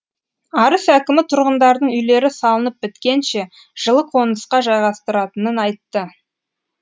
арыс әкімі тұрғындардың үйлері салынып біткенше жылы қонысқа жайғастыратынын айтты